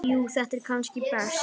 Jú þetta er kannski best.